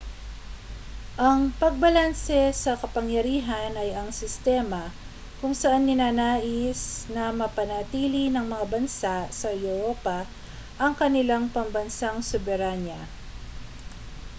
ang pagbalanse sa kapangyarihan ay ang sistema kung saan ninanais na mapanatili ng mga bansa sa europa ang kanilang pambansang soberanya